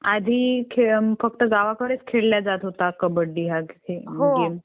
आधी फक्त गावाकडेच खेळाला जात होता कबड्डी हा खेळ